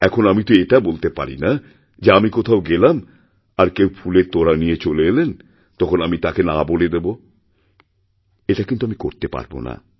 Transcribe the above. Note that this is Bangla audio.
এখন আমি তো এটা বলতে পারি না যে আমি কোথাও গেলাম আর কেউ ফুলের তোড়ানিয়ে চলে এলেন তখন আমি তাকে না বলে দেব এটা আমি করতে পারব না